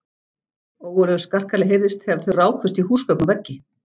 Ógurlegur skarkali heyrðist þegar þau rákust í húsgögn og veggi.